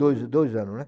Dois dois anos, né?